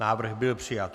Návrh byl přijat.